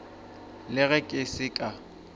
le ge ke se ka